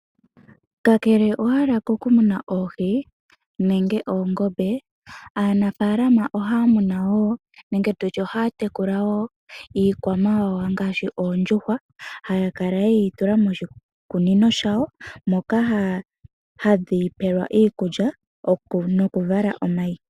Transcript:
Kakele owala kokumuna oohi nenge oongombe, aanafaalama ohaya munu woo nenge tutye ohaya tekula wo iikwamawawa ngaashi oondjuhwa, haya kala yeyi tula moshikunino shawo, moka hadhi pewela iikulya nokuvala omayi.